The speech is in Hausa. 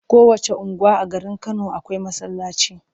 Kowacce unguwa a garin Kano akwai masallaci.